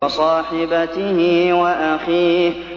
وَصَاحِبَتِهِ وَأَخِيهِ